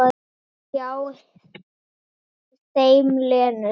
Hjá þeim Lenu.